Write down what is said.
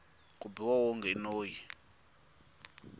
ku biha wonge i noyi